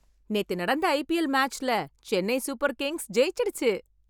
நேத்து நடந்த ஐபிஎல் மேட்ச்ல சென்னை சூப்பர் கிங்ஸ் ஜெயிச்சுடுச்சு.